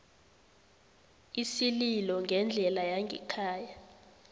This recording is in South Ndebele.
isililo ngendlela yangekhaya